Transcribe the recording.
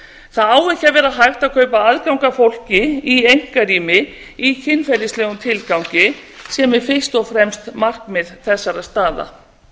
það á ekki að vera hægt að kaupa aðgang að fólki í einkarými í kynferðislegum tilgangi sem er fyrst og fremst markmið þessara staða